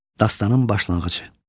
Dastanın başlanğıcı.